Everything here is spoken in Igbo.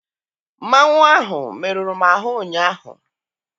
Mmanwụ ahụ meruru m ahụ ụnyaahụ.